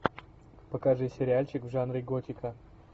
покажи сериальчик в жанре готика